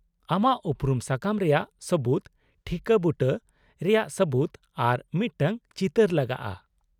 -ᱟᱢᱟᱜ ᱩᱯᱨᱩᱢ ᱥᱟᱠᱟᱢ ᱨᱮᱭᱟᱜ ᱥᱟᱵᱩᱛ, ᱴᱷᱤᱠᱟᱹ ᱵᱩᱴᱟᱹ ᱨᱮᱭᱟᱜ ᱥᱟᱵᱩᱛ ᱟᱨ ᱢᱤᱫᱴᱟᱝ ᱪᱤᱛᱟᱹᱨ ᱞᱟᱜᱟᱜᱼᱟ ᱾